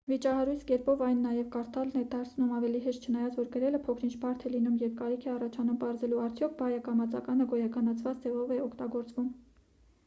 վիճահարույց կերպով այն նաև կարդալն է դարձնում ավելի հեշտ չնայած որ գրելը փոքր-ինչ բարդ է լինում երբ կարիք է առաջանում պարզելու արդյոք բայը կամ ածականը գոյականացված ձևով է օգտագործվում